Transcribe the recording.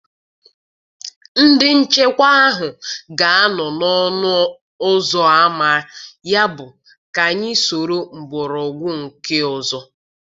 Ndị nchekwa ahụ ga-anọ n'ọnụ ụzọ ámá, yabụ ka anyị soro mgbọrọgwụ nke ọzọ.